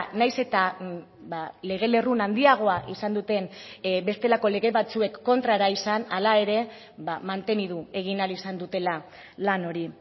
nahiz eta lege lerrun handiagoa izan duten bestelako lege batzuek kontrara izan hala ere mantendu egin ahal izan dutela lan hori